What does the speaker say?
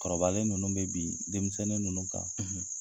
Kɔrɔbalen ninnu bɛ bin denmisɛnnin ninnu kan,